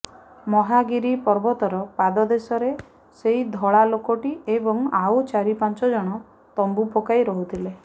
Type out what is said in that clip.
ମହାଗିରି ପର୍ବତର ପାଦଦେଶରେ ସେଇ ଧଳାଲୋକଟି ଏବଂ ଆଉ ଚାରିପାଂଚଞ୍ଚ ଜଣ ତମ୍ବୁ ପକାଇରହୁଥିଲେ